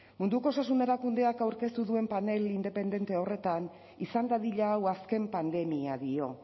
munduko osasun erakundeak aurkeztu duen panel independentea horretan izan dadila hau azken pandemia dio